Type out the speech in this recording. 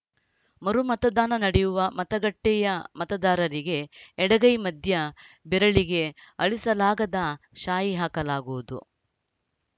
ಮರು ಮತದಾನ ನಡೆಯುವ ಮತಗಟ್ಟೆಯ ಮತದಾರರಿಗೆ ಎಡಗೈ ಮಧ್ಯ ಬೆರಳಿಗೆ ಅಳಿಸಲಾಗದ ಶಾಯಿ ಹಾಕಲಾಗುವುದು